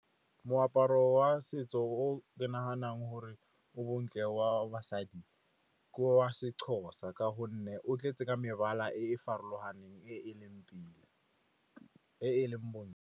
Moaparo wa setso o ke naganang gore o bontle wa basadi ke wa seXhosa, ka gonne o tletse ka mebala e e farologaneng, e e leng pila, e e leng .